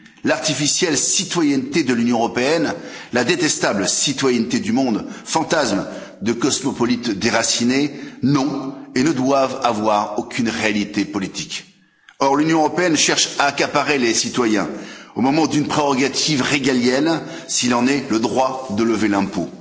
L'artificielle citoyenneté de l'Union européenne, la détestable citoyenneté du monde, fantasmes de cosmopolites déracinés, n'ont et ne doivent avoir aucune réalité politique. Or, l'Union européenne cherche à accaparer les citoyens, au nom d'une prérogative régalienne s'il en est, le droit de lever l'impôt.